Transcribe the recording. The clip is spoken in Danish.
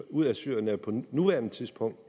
ud af syrien er på nuværende tidspunkt